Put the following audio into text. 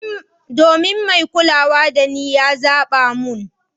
Domin mai kulawa dani ya zaba mun.